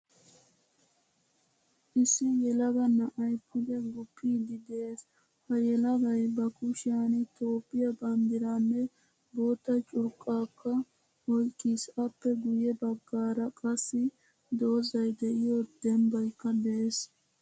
Issi yelaga na'ay pude guppidi de'ees. Ha yelagay ba kushiyan toophphiyaa banddiranne boottaa curqqakka oyqqiis. Appe guye baggaara qassi doozay de'iyo dembaykka de'ees.